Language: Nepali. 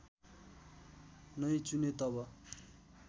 नै चुने तब